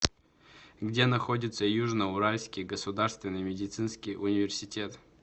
где находится южно уральский государственный медицинский университет